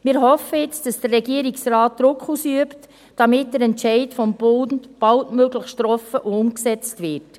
Wir hoffen jetzt, dass der Regierungsrat Druck ausübt, damit der Entscheid des Bundes baldmöglichst getroffen und umgesetzt wird.